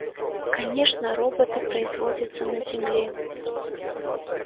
конечно роботы производятся на земле